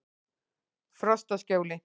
Frostaskjóli